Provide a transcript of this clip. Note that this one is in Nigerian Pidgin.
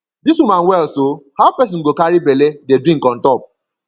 dis woman well so how person go carry bele dey drink on top